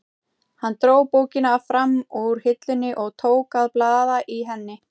Hann dró bókina fram úr hillunni og tók að blaða í henni.